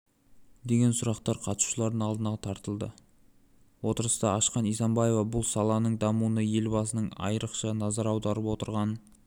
деген сұрақтар қатысушылардың алдына тартылды отырысты ашқан исимбаева бұл саланың дамуына елбасының айрықша назар аударып отырғанын